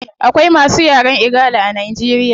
Akawai masu yaren igala a nigeria